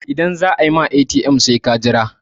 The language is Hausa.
idan za a yi ma ATM sai kai ta Jira